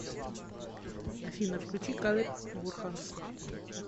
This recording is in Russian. афина включи калеб бурханс